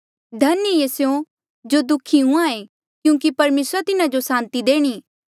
धन्य ऐें स्यों जो दुःखी हुंहां ऐें क्यूंकि परमेसरा तिन्हा जो सांति देणी